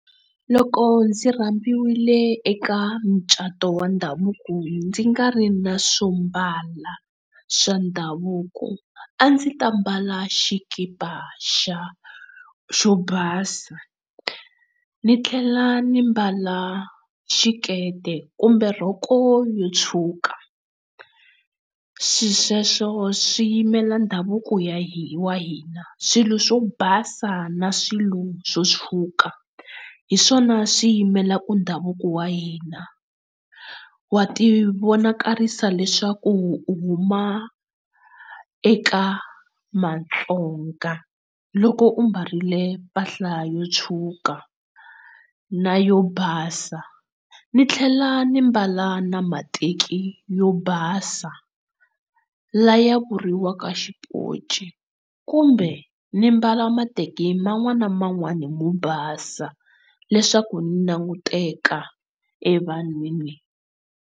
Loko ndzi rambiwile eka mucato wa ndhavuko ndzi nga ri na swombala swa ndhavuko a ndzi ta mbala xikipa xa xo basa ni tlhela ni mbala xikete kumbe rhoko yo tshuka swisweswo swi yimela ndhavuko ya hi wa hina. Swilo swo basa na swilo swo tshuka hiswona swi yimelaka u ndhavuko wa hina wa ti vonakarisa leswaku huma eka Vatsonga loko u mbarile mpahla yo tshuka na yo basa, ndzi tlhela ndzi mbala na mateki yo basa lawa ya vuriwaka xipoci kumbe ndzi mbala mateki man'wana ni man'wana mo basa leswaku ndzi languteka e vanhwini.